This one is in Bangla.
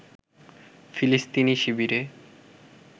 ফিলিস্তিনি শিবিরে